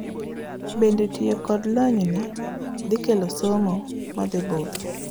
bende tiyo kod lonyni dhikelo somo madhibudho?